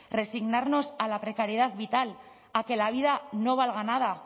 resignarnos a la precariedad vital a que la vida no valga nada